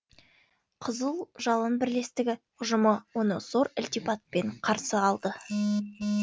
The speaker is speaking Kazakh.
қызыл жалын бірлестігі ұжымы оны зор ілтипатпен қарсы алды